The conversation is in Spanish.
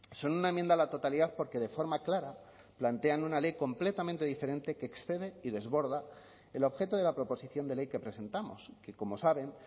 son una enmienda a la totalidad porque de forma clara plantean una ley completamente diferente que excede y desborda el objeto de la proposición de ley que presentamos que como saben